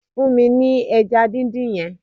Fún mi ní ẹja díndín yẹn